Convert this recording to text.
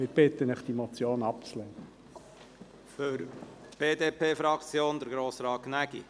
Wir bitten Sie, diese Motion abzulehnen.